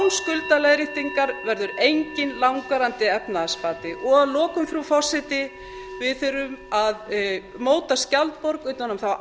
verður enginn langvarandi efnahagsbati að lokum frú forseti við þurfum að móta skjaldborg utan um þá